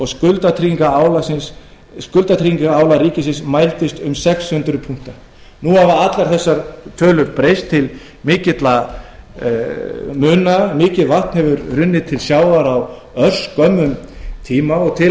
skuldatryggingarálag ríkisins mældist um sex hundruð punktar nú hafa allar þessar tölur breyst til mikilla muna mikið vatn hefur runnið til sjávar á örskömmum tíma og til að mynda